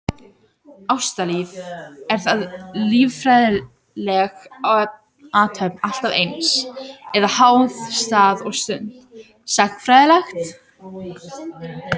Ástalíf, er það líffræðileg athöfn alltaf eins, eða háð stað og stund, sagnfræðilegt?